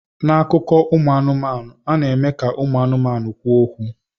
N'akụkọ ụmụ anụmanụ, a na-eme ka ụmụ anụmanụ kwuo okwu.